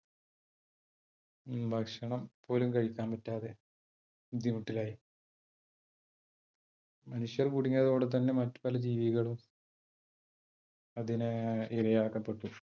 ഭക്ഷണം പോലും കഴിക്കാൻ പറ്റാതെ ബുദ്ധിമുട്ടിലായി. മനുഷ്യൻ കുടുങ്ങിയതോടെ തന്നെ മറ്റ് പല ജീവികളും അതിന് ഇരയാക്കപ്പെട്ടു.